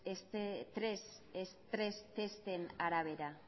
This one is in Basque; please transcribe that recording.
estres testen arabera